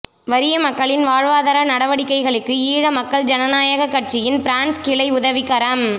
வறிய மக்களின் வாழ்வாதார நடவடிக்கைகளுக்கு ஈழ மக்கள் ஜனநா கட்சியின் பிரான்ஸ் கிளை உதவிக்கரம்